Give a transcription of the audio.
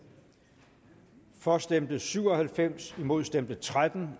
for stemte syv og halvfems imod stemte tretten